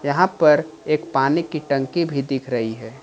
यहां पर एक पानी की टंकी भी दिख रही है।